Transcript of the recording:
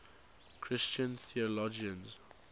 christian theologians